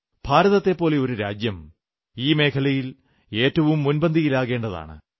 ഭാരതത്തെപ്പോലൊരു രാജ്യം ഈ മേഖലയിൽ ഏറ്റവും മുൻപന്തിയിലാകേണ്ടതാണ്